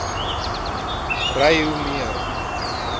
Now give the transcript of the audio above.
ry hoe meer